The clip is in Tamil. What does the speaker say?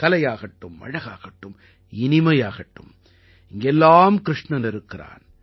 கலையாகட்டும் அழகாகட்டும் இனிமையாகட்டும் இங்கெல்லாம் கிருஷ்ணன் இருக்கிறான்